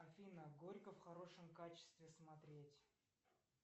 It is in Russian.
афина горько в хорошем качестве смотреть